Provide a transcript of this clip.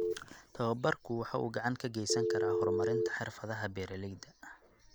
Tababarku waxa uu gacan ka geysan karaa horumarinta xirfadaha beeralayda.